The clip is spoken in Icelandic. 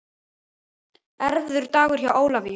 Erfiður dagur hjá Ólafíu